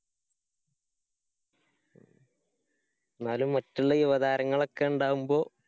എന്നാലും മറ്റുള്ള യുവതാരങ്ങളൊക്കെണ്ടാവുമ്പോ?